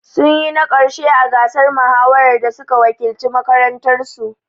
Sun yi na ƙarshe a gasar mahawar da suka wakilci makarantar su